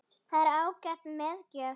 Það er ágæt meðgjöf